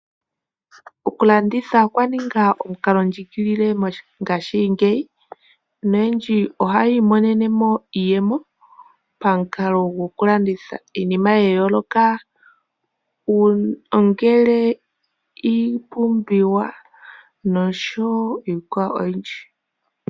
Oku landitha okwa ninga omukalo ndjigilile mongashingeyi. Noyendji ohayi imonene mo iiyemo pamukalo gwokulanditha iinima yayooloka. Ongele iipumbiwa noshowo iikwawo oyindji.